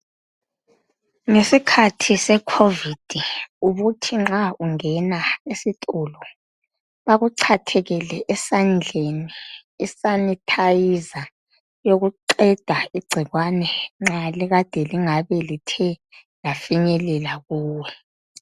Ngesikhathi se"Covid " ubuthi nxa ungena esitolo bakuchathekele esandleni i"sanitizer" yokuqeda igcikwane nxa likade lingabe lithe lafinyelela kuwe.